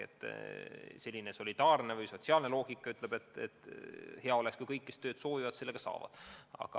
Selline solidaarne või sotsiaalne põhimõte on, et hea oleks, kui kõik, kes tööd soovivad, selle ka saavad.